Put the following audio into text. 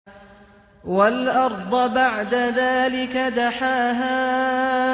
وَالْأَرْضَ بَعْدَ ذَٰلِكَ دَحَاهَا